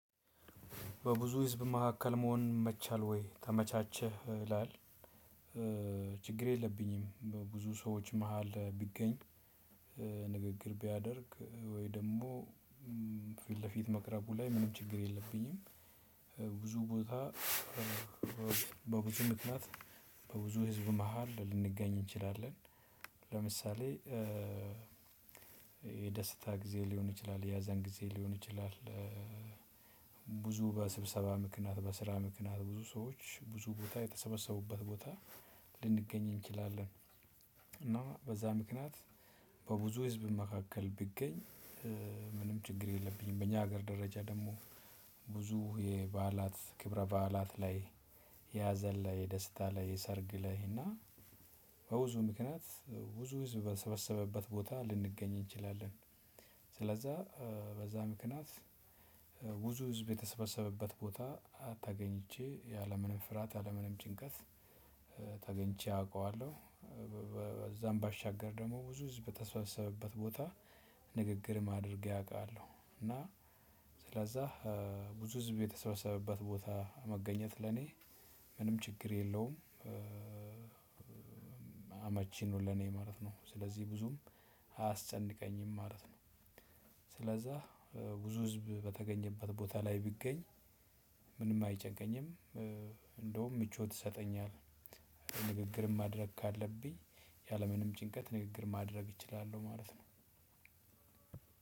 በብዙ ህዝብ መካከል መሆን ይመቻል ወይ ተመቻቸህ ይላል ችግር የለብኝም ብዙ ሰዎች መሃል ቢገኝ ንግግር ቢያደርግ ወይ ደግሞ ፊት ለፊት መቅረቡ ላይ ምንም ችግር የለብኝም። ብዙ ቦታ በብዙ ምክንያት በብዙ ህዝብ መሃል ልንገኝ እንችላለን ለምሳሌ የደስታ ጊዜ ሊሆን ይችላል የሀዘን ጊዜ ሊሆን ይችላል ብዙ በስብሰባ ምክንያት በስራ ምክንያት ብዙ ሰዎች ብዙ ቦታ የተሰበሰቡበት ቦታ ልንገኝ እንችላለን እና በዛ ምክንያት በብዙ ህዝብ መካከል ብገኝ ምንም ችግር የለብኝም በእኛ ሀገር ደረጃ ደግሞ ብዙ የበዓላት ክብረ በዓላት ላይ የሀዘን ላይ የደስታ ላይ የሰርግ ላይ እና በብዙ ምክንያት ብዙ በሰበሰበበት ቦታ ልንገኝ እንችላለን ስለዛ በዛ ምክንያት ብዙ ህዝብ በተሰበሰበበት ቦታ ተገኝቼ ያለምንም ፍራት ያለምንም ጭንቀት ተገኝቼ አቃለው ከዛም ባሻገር ደሞ ብዙ ህዝብ በተሰበሰበበት ቦታ ንግግርም አድርጌ አውቃለሁ እና ስለዛ ብዙ ህዝብ የተሰበሰበበት ቦታ መገኘት ለኔ ምንም ችግር የለውም። አመቺ ነው ለኔ ማለት ነው ስለዚህ ብዙም አያስጨንቀኝም ማለት ነው ስለዛ ብዙ ህዝብ በተገኘበት ቦታ ላይ ቢገኝ ምንም አይጨንቀኝም እንደውም ምቾት ይሰጠኛል። ንግግርም ማድረግ ካለብኝ ያለምንም ጭንቀት ንግግር ማድረግ እችላለሁ ማለት ነው።